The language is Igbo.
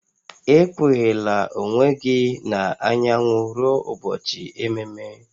Ekpughela onwe gị n'anyanwụ ruo ụbọchị ememe